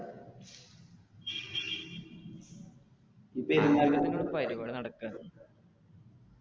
പെരുന്നാളിന്റെ പരിപാടി നടക്കേണ്